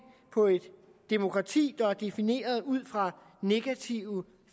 på et demokrati der er defineret ud fra negative